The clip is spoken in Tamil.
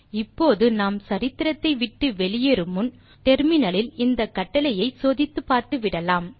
இப்போது நாம் சரித்திரத்தை விட்டு வெளியேறு முன் முனையத்தில் இந்த கட்டளையை சோதித்து பார்த்துவிடலாம்